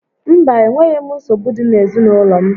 Mba, enweghị nsogbu dị n'ezinaụlọ m